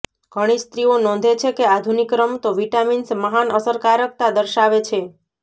ઘણી સ્ત્રીઓ નોંધે છે કે આધુનિક રમતો વિટામિન્સ મહાન અસરકારકતા દર્શાવે છે